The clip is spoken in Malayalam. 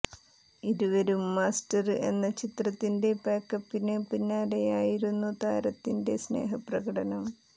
ഇരുവരും മാസ്റ്റര് എന്ന ചിത്രത്തിന്റെ പാക്കപ്പിന് പിന്നാലെയായിരുന്നു താരത്തിന്റെ സ്നേഹ പ്രകടനം